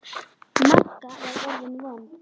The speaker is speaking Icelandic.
Magga var orðin vond.